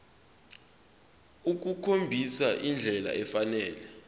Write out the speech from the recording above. ukukhombisa indlela efanele